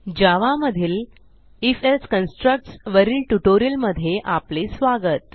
जावा मधील if else constructs वरील ट्युटोरियलमध्ये स्वागत